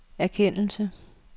erkendelse